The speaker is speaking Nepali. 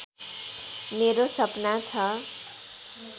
मेरो सपना छ